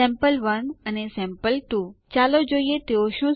સીડી space home અને Enter ડબાઓ